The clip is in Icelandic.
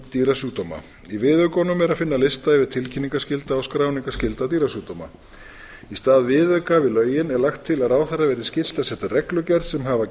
dýrasjúkdóma í viðaukunum er að finna lista yfir tilkynningarskylda og skráningarskylda dýrasjúkdóma í stað viðauka við lögin er lagt til að ráðherra verði skylt að setja reglugerð sem hafi að